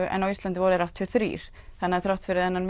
en á Íslandi voru þeir áttatíu og þrjú þannig að þrátt fyrir þennan